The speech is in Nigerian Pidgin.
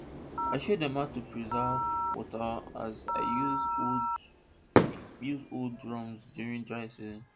i show dem how i dey preserve wata as i dey use old use old drums during dry season